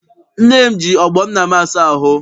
Nne m ji ọgbọ nna m asa ahụ.